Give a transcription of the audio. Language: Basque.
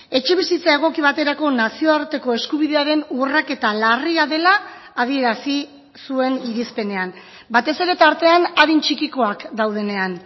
etxebizitza egoki baterako nazioarteko eskubidearen urraketa larria dela adierazi zuen irizpenean batez ere tartean adin txikikoak daudenean